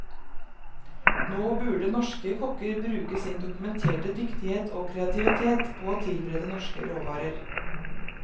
Nå burde norske kokker bruke sin dokumenterte dyktighet og kreativitet på å tilberede norske råvarer.